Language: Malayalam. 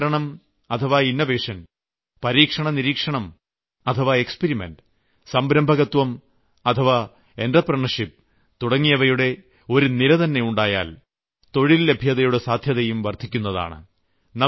നവീകരണം ഇന്നോവേഷൻ പരീക്ഷണ നിരീക്ഷണം എക്സ്പെരിമെന്റ് സംരംഭകത്വം എൻടർപ്രണ്യൂർഷിപ്പ് തുടങ്ങിയവയുടെ ഒരു നിരതന്നെ ഉണ്ടായാൽ തൊഴിൽ ലഭ്യതയുടെ സാധ്യതയും വർദ്ധിക്കുന്നതാണ്